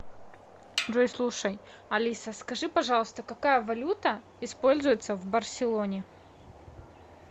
джой слушай алиса скажи пожалуйста какая валюта используется в барселоне